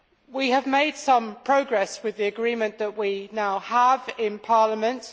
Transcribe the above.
We have made some progress with the agreement that we now have in Parliament.